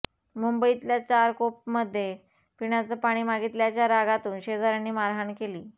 मुंबईतल्या चारकोपमध्ये पिण्याचं पाणी मागितल्याच्या रागातून शेजाऱ्यांनी मारहाण केली